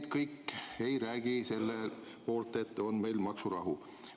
Miski siin ei räägi selle poolt, et meid ootaks ees maksurahu.